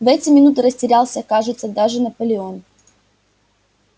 в эти минуты растерялся кажется даже наполеон